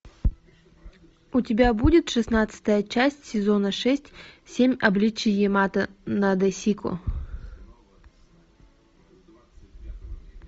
у тебя будет шестнадцатая часть сезона шесть семь обличий ямато надэсико